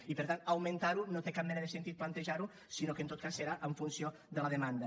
i per tant augmentar ho no té cap mena de sentir plantejar ho sinó que en tot cas serà en funció de la demanda